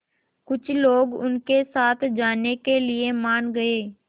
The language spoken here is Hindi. कुछ लोग उनके साथ जाने के लिए मान गए